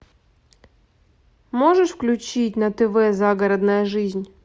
можешь включить на тв загородная жизнь